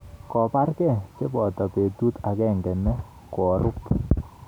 Kobargei cheboto betut agenge ne korup